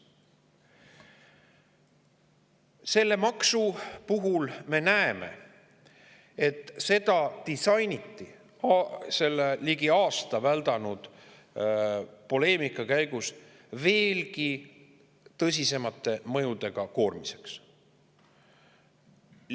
Selle maksu puhul me näeme, et see disainiti ligi aasta väldanud poleemika käigus veelgi tõsisemate mõjudega koormiseks.